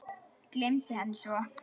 Gleymdi henni svo.